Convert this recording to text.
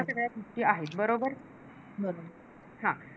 हा